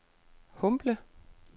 Humble